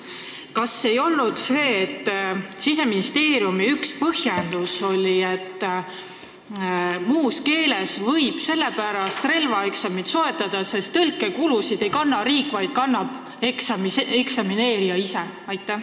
Kas ei olnud nii, et Siseministeeriumi üks põhjendusi, miks võib relvaeksami muus keeles sooritada, oli see, et tõlkekulusid ei kanna riik, vaid kannab eksamit sooritada sooviv isik ise?